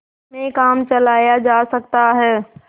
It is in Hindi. में काम चलाया जा सकता है